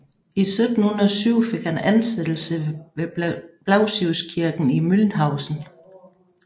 I 1707 fik han ansættelse ved Blasiuskirken i Mühlhausen